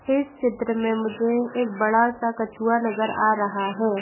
इस चित्र में मुझे एक बड़ा सा कछुआ नज़र आ रहा है।